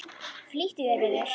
Flýttu þér, vinur.